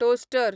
toaster